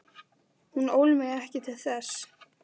Hún ól mig ekki til þess.